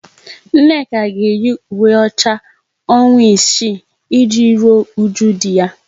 Nneka ga eyi ùwé ọcha ọnwa isii e ji rụọ ụju di ya